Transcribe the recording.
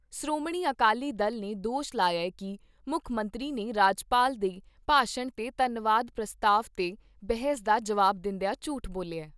ਸ਼੍ਰੋਮਣੀ ਅਕਾਲੀ ਦਲ ਨੇ ਦੋਸ਼ ਲਾਇਆ ਕਿ ਮੁੱਖ ਮੰਤਰੀ ਨੇ ਰਾਜਪਾਲ ਦੇ ਭਾਸ਼ਣ 'ਤੇ ਧੰਨਵਾਦ ਪ੍ਰਸਤਾਵ 'ਤੇ ਬਹਿਸ ਦਾ ਜਵਾਬ ਦਿੰਦਿਆ ਝੂਠ ਬੋਲਿਆ ।